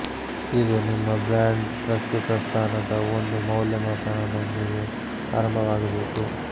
ಇದು ನಿಮ್ಮ ಬ್ರ್ಯಾಂಡ್ ಪ್ರಸ್ತುತ ಸ್ಥಾನದ ಒಂದು ಮೌಲ್ಯಮಾಪನ ನೊಂದಿಗೆ ಆರಂಭವಾಗಬೇಕು